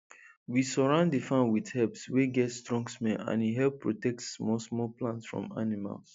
we surround the farm with herbs wey get strong smell and e help protect small small plants from animals